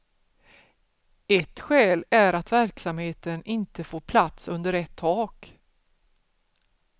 Ett skäl är att verksamheten inte får plats under ett tak.